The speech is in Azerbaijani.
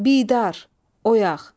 Bidar, oyaq.